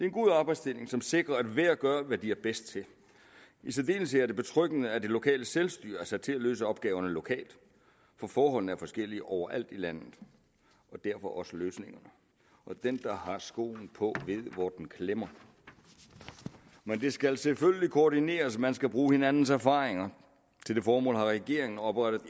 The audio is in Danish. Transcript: en god arbejdsdeling som sikrer at hver gør hvad de er bedst til i særdeleshed er det betryggende at det lokale selvstyre er sat til at løse opgaverne lokalt for forholdene er forskellige overalt i landet og derfor også løsningerne og den der har skoen på ved hvor den klemmer men det skal selvfølgelig koordineres man skal bruge hinandens erfaringer til det formål har regeringen oprettet